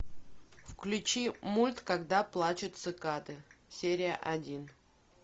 включи мульт когда плачут цикады серия один